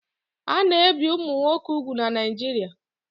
A na-ebi ụmụ nwoke úgwù na Naijiria